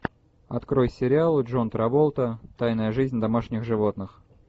открой сериал джон траволта тайная жизнь домашних животных